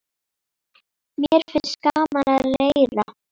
Mér finnst gaman að leira.